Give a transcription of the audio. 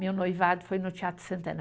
Meu noivado foi no Teatro Santana.